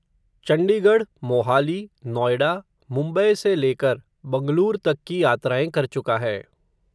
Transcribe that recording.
चण्डीगढ़, मोहाली, नोयडा, मुम्बै से लेकर, बंगलूर तक की यात्राएं कर चुका है